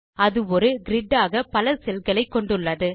அது ஒரு கிரிட் ஆக பல செல் களை கொண்டுள்ளது